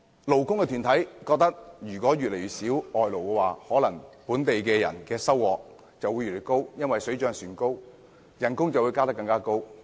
勞工團體認為，外勞越少，本地工人的收入會越高，因為水漲船高，工資自然有更大增幅。